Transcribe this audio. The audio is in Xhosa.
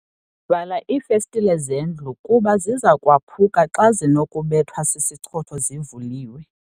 Vala iifestile zendlu kuba ziza kwaphuka xa zinokubethwa sisichotho zivuliwe.